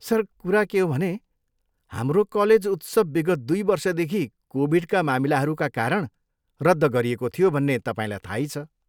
Sir, कुरा के हो भने, हाम्रो कलेज उत्सव विगत दुई वर्षदेखि कोभिडका मामिलाहरूका कारण रद्द गरिएको थियो भन्ने तपाईँलाई थाहै छ।